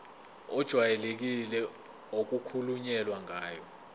ejwayelekile okukhulunywe ngayo